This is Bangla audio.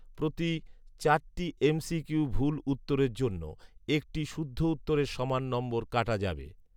প্রতি চারটি এম সি কিউ ভুল উত্তরের জন্য একটি শুদ্ধ উত্তরের সমান নম্বর কাটা যাবে